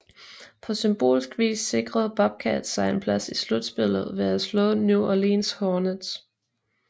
På symbolsk hvis sikrede Bobcats sig en plads i slutspillet ved at slå New Orleans Hornets